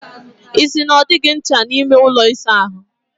Ị sị na ọ dịghị ncha n'ime ụlọ ịsa ahụ?